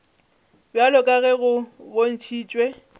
bjalo ka ge go bontšhitšwe